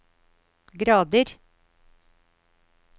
grader